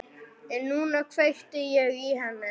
En núna kveikti ég í henni.